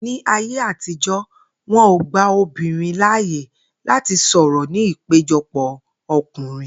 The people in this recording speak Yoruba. Ní ayé àtijó̩, wo̩n ò gba obìnrin láàyè láti sò̩rò̩ ní ìpéjo̩pò̩ o̩kùnrin